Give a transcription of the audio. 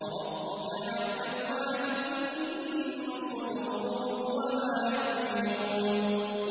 وَرَبُّكَ يَعْلَمُ مَا تُكِنُّ صُدُورُهُمْ وَمَا يُعْلِنُونَ